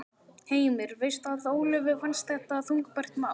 Heimir: Veistu að Ólöfu fannst þetta þungbært mál?